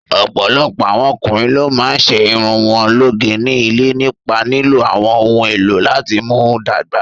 Ọ̀pọ̀lọpọ̀ àwọn ọkùnrin ló máa ń ṣe irun wọn lóge ní ilé nípa lílo àwọn ohun èlò láti mú dàgbà.